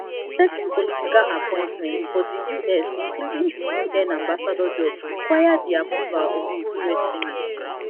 certain political appointments for di us including di un ambassador job require di approval of di us senate